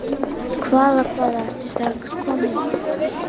Hvaða, hvaða, ertu strax kominn?